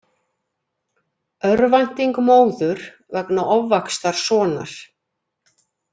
Örvænting móður vegna ofvaxtar sonar